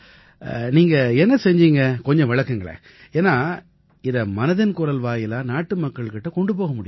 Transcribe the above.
நீங்க என்ன செஞ்சீங்க கொஞ்சம் விளக்குங்க ஏன்னா இதை மனதின் குரல் வாயிலாக நாட்டுமக்கள் கிட்ட கொண்டு போக முடியும்